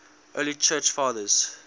early church fathers